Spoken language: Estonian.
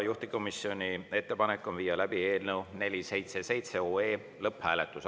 Juhtivkomisjoni ettepanek on viia läbi eelnõu 477 lõpphääletus.